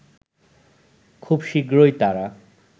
খুব শীঘ্রই তারা